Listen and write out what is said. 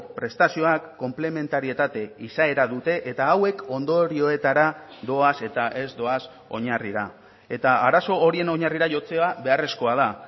prestazioak konplementarietate izaera dute eta hauek ondorioetara doaz eta ez doaz oinarrira eta arazo horien oinarrira jotzea beharrezkoa da